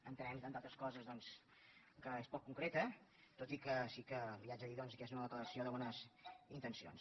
entenem entre altres coses doncs que és poc concreta tot i que sí que li haig de dir que és una declaració de bones intencions